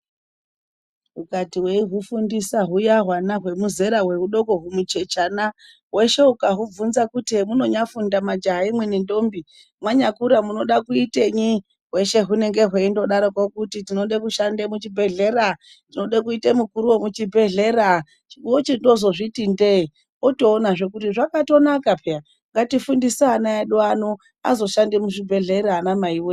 Ukati weihufundisa huya hwana hudoko zvedera humuchechana hweshe ukahubvunza hemunonyafundamwi majaha nendombi mwanyakura munoda kuitenyi, hweshe hunenge hweindodaroko kuti tinode kushande muchibhedhehlera, tinode kuite mukuru wemuchibhedhlera wochindozvozviti ndee wotoonazve kuti zvakatonaka peya. Ngatifundise ana vedu ano azoshande muzvibhehlera anamai wee.